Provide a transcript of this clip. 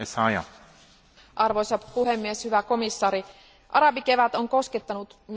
Arvoisa puhemies, hyvä komissaari, arabikevät on koskettanut myös Bahrainia.